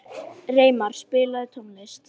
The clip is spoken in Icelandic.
Reimar, spilaðu tónlist.